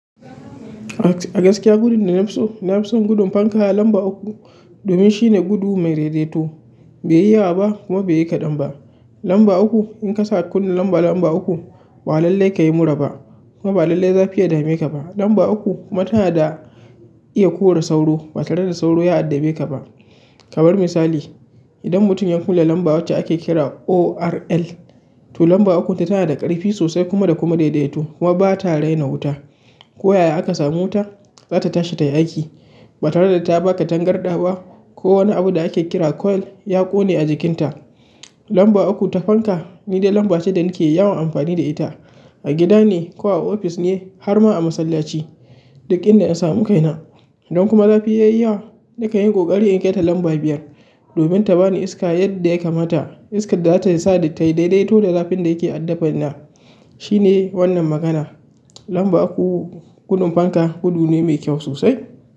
A gaskiya gudin da nafi so nafi son gudin fanka lamba uku domin shine gudu me dede to bai yi yawa ba kuma bai yi kaɗan ba. Lamba uku, in ka sa kulin lamba, lamba uku ba lallai ka yi mura ba kuma ba lallai zafi ya dame ka ba. Lamba uku kuma tana da iya kore sauro ba tare da sauro ya addabe ka ba. Kamar misali, idan mutum ya kula lamba wacce ake kira O.R.L, to lamba ukun ta tana da ƙarfi sosai kuma da kuma daidaito kuma ba ta raina wuta. Ko yaya aka sami wuta zata tashi tai aiki ba tare da ta ba ka tangarɗa ba ko wani abu da ake kira coil ya ƙone a jikinta. Lamba uku ta fanka ni dai lamba ce da nake yawan amfani da ita a gida ne ko a ofis ne har ma a masallaci duk inda in samu kaina. In kuma zafi yayi yawa nakan yi ƙoƙari in kaita lamba biyar domin ta bani iska yadda ya kamata. Iskar da zata sa tai daidaito da zafin da yake addabaina. Shine wannan magana. Lamba uku gudun fanka gudu ne mai kyau sosai.